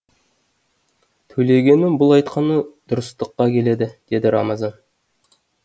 төлегеннің бұл айтқаны дұрыстыққа келеді деді рамазан